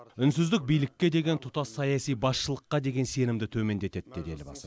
үнсіздік билікке деген тұтас саяси басшылыққа деген сенімді төмендетеді деді елбасы